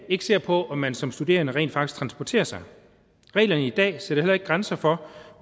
ikke ser på om man som studerende rent faktisk transporterer sig reglerne i dag sætter heller ikke grænser for